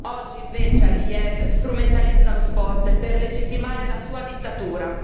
Oggi invece Aliyev strumentalizza lo sport per legittimare la sua dittatura.